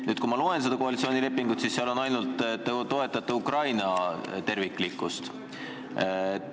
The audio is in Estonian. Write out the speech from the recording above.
Praegu ma loen sellest lepingust, et seal on ainult kirjas, et te toetate Ukraina terviklikkust.